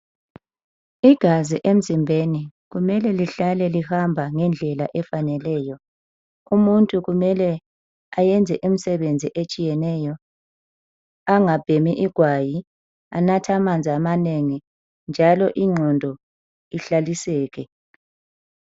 Igazi emzimbeni kumele lihlale lihamba ngendlela efaneleyo. Umuntu kumele ayenze imisebenzi etshiyeneyo, anathe amanzi ayeneleyo emzimbeni angabhemi igwayi njalo ingqondo ihlaliseke.